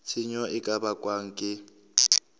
tshenyo e ka bakwang ke